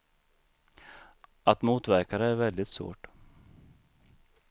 Att motverka det är väldigt svårt.